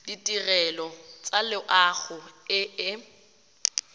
ditirelo tsa loago e e